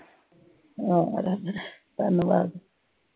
ਹਾਂ, ਰੱਬ ਦਾ ਧੰਨਵਾਦ।